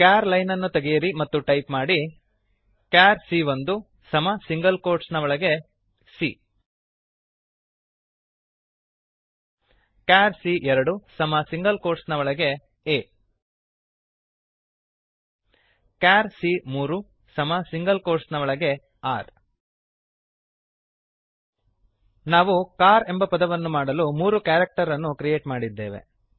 char ಲೈನನ್ನು ತೆಗೆಯಿರಿ ಮತ್ತು ಟೈಪ್ ಮಾಡಿ ಚಾರ್ ಸಿಎ1 ಕ್ಯಾರ್ ಸಿ ಒಂದು ಸಮ ಸಿಂಗಲ್ ಕೋಟ್ಸ್ ನ ಒಳಗೆ c char CA two char C ಎರಡು ಸಮ ಸಿಂಗಲ್ ಕೋಟ್ಸ್ ನ ಒಳಗೆ a ಚಾರ್ ಸಿಎ3 ಕ್ಯಾರ್ ಸಿ ಮೂರು ಸಮ ಸಿಂಗಲ್ ಕೋಟ್ಸ್ ನ ಒಳಗೆ r ನಾವು ಸಿಎಆರ್ ಕಾರ್ ಎಂಬ ಪದವನ್ನುಮಾಡಲು ಮೂರು ಕ್ಯಾರಕ್ಟರನ್ನು ಕ್ರಿಯೇಟ್ ಮಾಡಿದ್ದೇವೆ